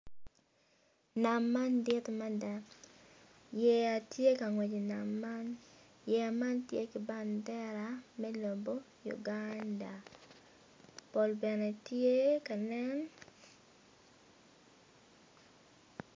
Nam man dit mada yeya tye ka ngwec i nam man yeya man tye ki bandera me lobo Uganda pol bene tye ka nen.